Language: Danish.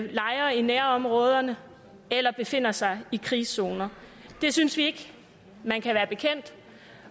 lejre i nærområderne eller befinder sig i krigszoner det synes vi ikke man kan være bekendt